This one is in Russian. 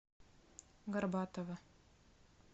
горбатова